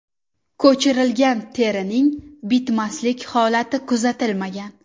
Ko‘chirilgan terining bitmaslik holati kuzatilmagan.